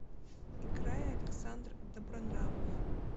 играй александр добронравов